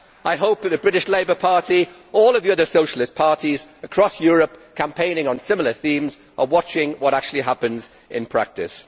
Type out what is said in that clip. I hope that the British Labour Party and all of the other socialist parties across Europe campaigning on similar themes are watching what actually happens in practice.